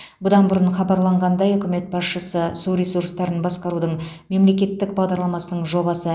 бұдан бұрын хабарланғандай үкімет басшысы су ресурстарын басқарудың мемлекеттік бағдарламасының жобасы